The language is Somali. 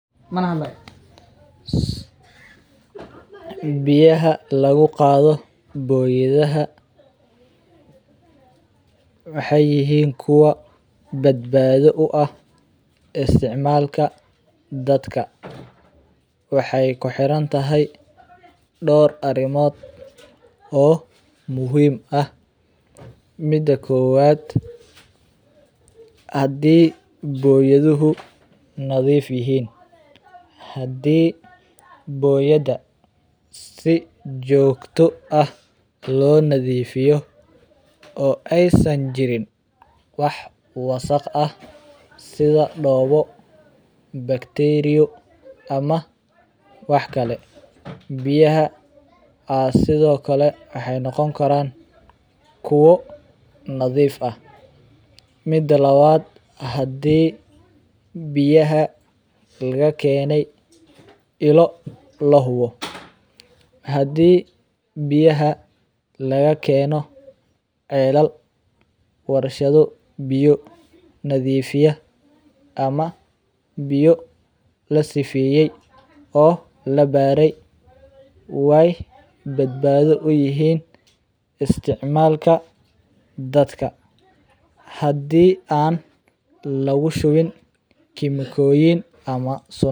Biyaha lagugado boyadaha waxay yixiin kuwa badbado u ah isticmalka dadka, waxay kuhirantahay door arimod oo muxiim ah, mida kowad hadhii biyahudu nadiif yihiin, hadhi boyada si jigto ah lonadifiyo o aysan jira sidha dowo, acteria ama wahkale biyaha waxa sidhokale nogonkaraan kuwo nadiif ah, mida lawad hadhi biyaha nilakenay, ilo lahubo, biyaha lagakeno celal warshado biya nadiifiya ama biya ladifeyay oo labaray, way badbado uyixiin isticmalka dadka hadhi aan lagushubiin chemical.